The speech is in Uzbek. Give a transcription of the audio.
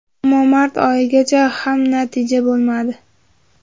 Ammo mart oyigacha ham natija bo‘lmadi.